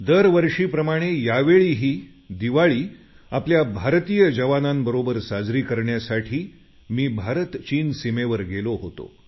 दर वर्षीप्रमाणे यावेळीही दिवाळी आपल्या भारतीय जवानांबरोबर साजरी करण्यासाठी मी भारतचीन सिमेवर गेलो होतो